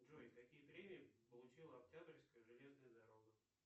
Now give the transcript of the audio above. джой какие премии получила октябрьская железная дорога